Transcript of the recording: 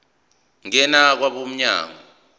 ngena kwabo mnyango